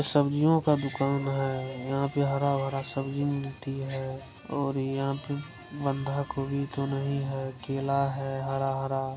सब्जियों का दुकान है यहां पे हरा-हरा सब्जी मिलती है और यहां पे बंधा कोवि तो नहीं है केला है हरा-हरा---